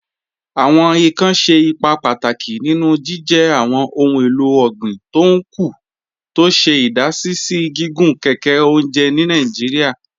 Awọn ìkàn ṣẹ̀ ìpà pátákì nínú jìjẹ́ awọn ohun èlò ọ̀gbin tó ń kú, tó ṣè idàsí sí gígùn kẹkẹ ọ̀njẹ̀ ni Nàìjíríà.